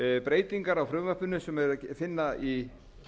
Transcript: breytingar á frumvarpinu sem er að finna í